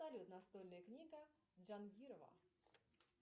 салют настольная книга джангирова